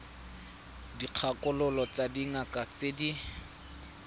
dikgakololo tsa dingaka tse di